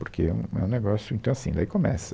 Porque é, é um negócio, então, assim, daí começa.